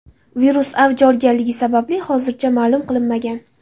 Virus avj olganligi sababi hozircha ma’lum qilinmagan.